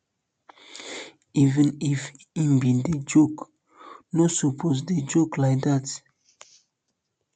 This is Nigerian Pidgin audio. even if he bin dey joke you um no suppose um dey joke like dat